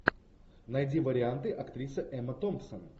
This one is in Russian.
найди варианты актриса эмма томпсон